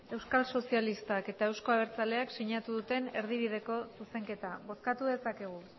euskal sozialistak eta euzko abertzaleak sinatu duten erdibideko zuzenketa bozkatu dezakegu